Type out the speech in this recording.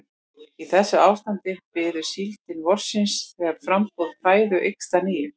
Í þessu ástandi bíður síldin vorsins þegar framboð fæðu eykst að nýju.